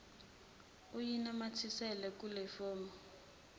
uyinamathisele kulefomu usayine